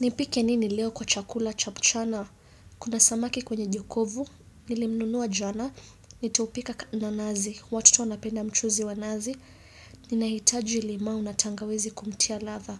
Nipike nini leo kwa chakula cha mchana? Kuna samaki kwenye jokovu, nilimnunua jana, nitaupika kna nazi. Watoto wanapenda mchuzi wa nazi, nina hitaji limau na tangawizi kumtia ladha.